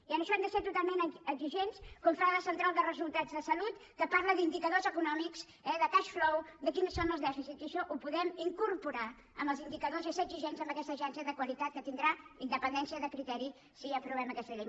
i en això hem de ser totalment exigents com fa la central de resultats de salut que parla d’indicadors econòmics eh de cash flow de quins són els dèficits i això ho podem incorporar als indicadors i ser exigents amb aquesta agència de qualitat que tindrà independència de criteri si aprovem aquesta llei